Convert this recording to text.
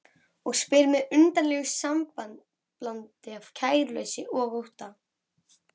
Og spyr með undarlegu samblandi af kæruleysi og ótta